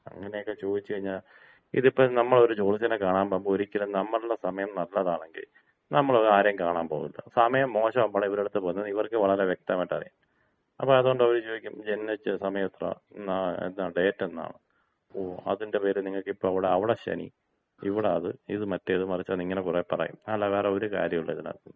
അങ്ങനെയൊക്കെ ചോദിച്ചുകഴിഞ്ഞാ, ഇത് ഇപ്പോ നമ്മൾ ഒരു ജോത്സ്യനെ കാണാമ്പോകുമ്പോ, ഒരിക്കലും നമ്മുടെ സമയം നല്ലതാണെങ്കി നമ്മൾ അത് ആരെയും കാണാൻ പോവില്ല. സമയം മോശമാകുമ്പോഴാണ് ഇവരുടെ അടുത്ത് പോകുന്നതെന്ന് ഇവർക്ക് വളരെ വ്യക്തമായിട്ടറിയാം. അതുകൊണ്ട് അവർ ചോദിക്കും ജനിച്ച സമയം എത്ര, ഡേറ്റ് എന്നാണ് അതിന്‍റെ പേരില് നിങ്ങൾക്ക് അവിടെ ശനി, ഇവിടെ അത് മറ്റേത് മറച്ചത് എന്നിങ്ങനെ കുറെ പറയും. അല്ലാതെ ഒരു കാര്യോംല്ല ഇതിനകത്ത്.